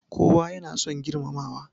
Kowa ya na son girmamawa